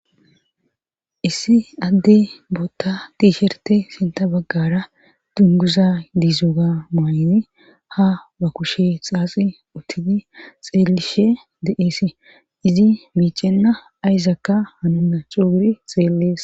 issi adde bootta tiishirte sinta baggara dunguza diizoga muayne ha ba kushe xaaxi uttini xeelishe de7eesi izi miicenna ayzaakka hanonna cuuguri xeellees